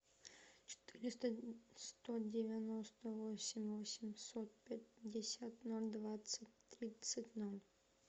четыреста сто девяносто восемь восемьсот пятьдесят ноль двадцать тридцать ноль